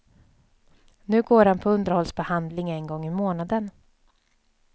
Nu går han på underhållsbehandling en gång i månaden.